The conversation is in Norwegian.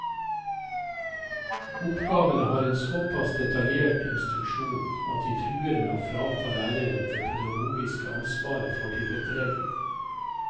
Oppgavene har en såpass detaljert instruksjon at de truer med å frata læreren det pedagogiske ansvaret for tilrettelegging.